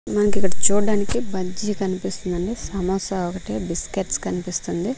మనక్ ఇక్కడ చూడ్డానికి బజ్జీ కనిపిస్తుందండి సమోసా ఒకటి బిస్కెట్స్ కనిపిస్తుంది.